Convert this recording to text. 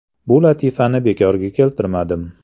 Bu latifani bekorga keltirmadim.